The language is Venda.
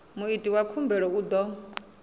muiti wa khumbelo u ḓo